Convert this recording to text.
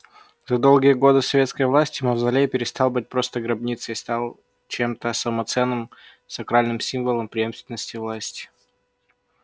за долгие годы советской власти мавзолей перестал быть просто гробницей и стал чемто самоценным сакральным символом преемственности власти